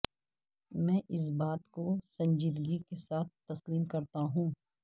میں اس بات کو سنجیدگی کے ساتھ تسلیم کرتاہوں